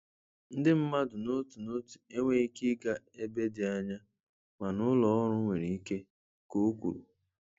Ndị mmadụ n'otu n'otu enweghị ike ịga ebe dị anya mana ụlọ ọrụ nwere ike,' ka o kwuru.